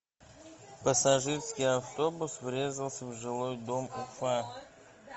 пассажирский автобус врезался в жилой дом уфа